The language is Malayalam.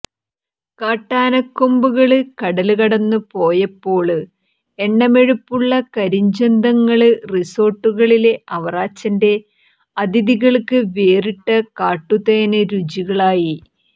കാട്ടാനങ്കൊമ്പുകള് കടല് കടന്നുപോയപ്പോള് എണ്ണമെഴുപ്പുള്ള കരിഞ്ചന്തങ്ങള് റിസോര്ട്ടുകളിലെ അവറാച്ചന്റെ അതിഥികള്ക്ക് വേറിട്ട കാട്ടുതേന് രുചികളായി